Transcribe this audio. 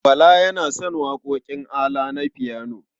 Bala yana son waƙoƙin ALA na fiyano.